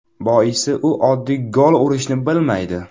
Boisi u oddiy gol urishni bilmaydi.